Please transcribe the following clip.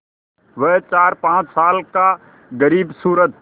वह चारपाँच साल का ग़रीबसूरत